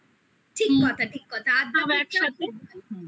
ঠিক কথা ঠিক কথা